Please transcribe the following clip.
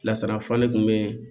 Lasarafurali kun bɛ yen